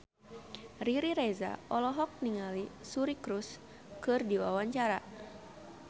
Riri Reza olohok ningali Suri Cruise keur diwawancara